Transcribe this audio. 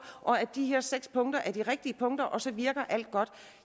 og at de her seks punkter er de rigtige punkter og så virker alt godt